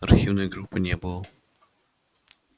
архивной группы не было